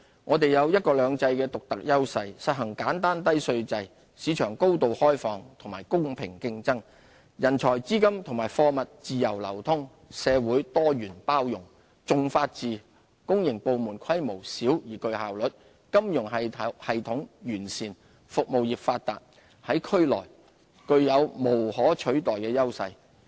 我們有"一國兩制"的獨特優勢，實行簡單低稅制，市場高度開放和公平競爭，人才、資金和貨物自由流通，社會多元包容，重法治，公營部門規模小而具效率，金融系統完善，服務業發達，在區內具有無可取代的優勢。